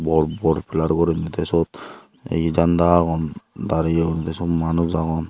bor bor pillar guriney teh suot he janda agon dariye guriney syut manus agon.